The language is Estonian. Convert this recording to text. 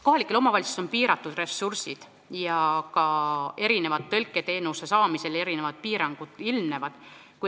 Kohalikel omavalitsustel on piiratud ressursid ja ka tõlketeenuse saamisel ilmnevad erinevad piirangud.